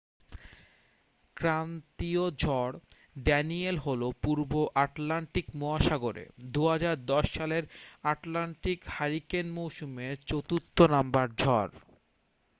ক্রান্তীয় ঝড় ড্যানিয়েল হল পূর্ব আটলান্টিক মহাসাগরে 2010 সালের আটলান্টিক হারিকেন মৌসুমের চতুর্থ নাম্বার ঝড়